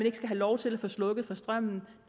ikke skal have lov til at få slukket for strømmen